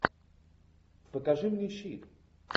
покажи мне щит